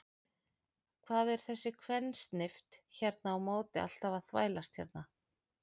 Hvað er þessi kvensnift hérna á móti alltaf að þvælast hérna?